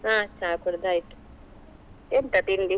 ಹಾ ಚಾ ಕುಡ್ದ್ ಆಯ್ತು, ಎಂತ ತಿಂಡಿ?